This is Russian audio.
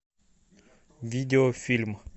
видео фильм